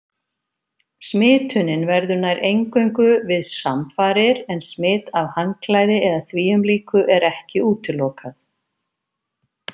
Smitunin verður nær eingöngu við samfarir en smit af handklæði eða þvíumlíku er ekki útilokað.